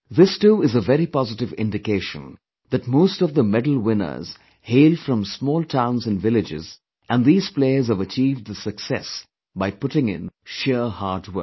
This too is a very positive indication that most of the medalwinners hail from small towns and villages and these players have achieved this success by putting in sheer hard work